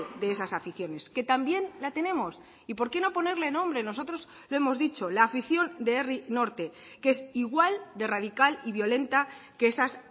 de esas aficiones que también la tenemos y por qué no ponerle nombre nosotros lo hemos dicho la afición de herri norte que es igual de radical y violenta que esas